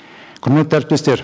құрметті әріптестер